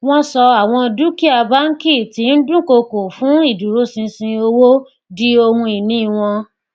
wọn ṣọ àwọn dúkìá bánkì tí ń dúkokò fún ìdúróṣinṣin owó di ohun ìní wọn